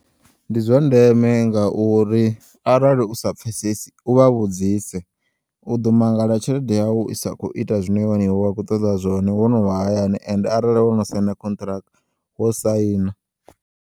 Ndi zwandeme ngauri arali usa pfesesi u vha vhudzise u ḓo mangala tshelede yau isa khou ita zwine wa kho ṱoḓa zwone wo novha hayani ende arali wono sayina khontraka wo sayina.